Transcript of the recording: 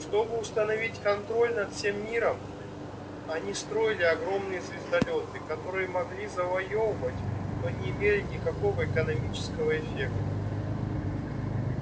чтобы установить контроль над всем миром они строили огромные звездолёты которые могли завоёвывать но не имели никакого экономического эффекта